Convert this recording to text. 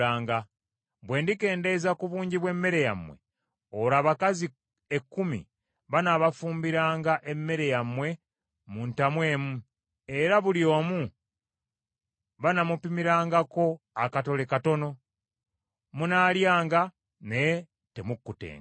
Bwe ndikendeeza ku bungi bw’emmere yammwe, olwo abakazi ekkumi banaabafumbiranga emmere yammwe mu ntamu emu, era buli omu banaamupimirangako akatole katono. Munaalyanga, naye temukkutenga.